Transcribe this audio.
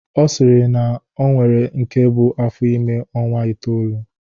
Ọ sịrị na o nwere nke bu afọ ime ọnwa itoolu